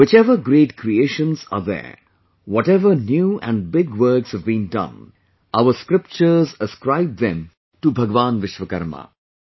Whichever great creations are there, whatever new and big works have been done, our scriptures ascribe them to Bhagwan Vishwakarma